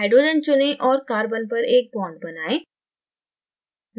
hydrogen चुनें और carbon पर एक bond बनाएं